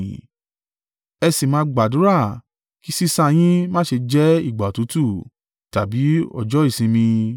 Ẹ sì máa gbàdúrà kí sísá yín má ṣe jẹ́ ìgbà òtútù, tàbí ọjọ́ ìsinmi.